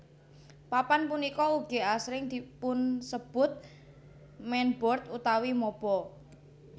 Papan punika ugi asring dipunsebut mainboard utawi mobo